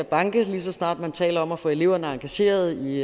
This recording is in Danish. at banke lige så snart man taler om at få eleverne engageret i